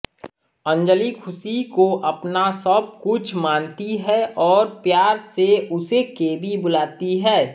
अंजलि खुशी को अपना सब कुछ मानती है और प्यार से उसे केबी बुलाती है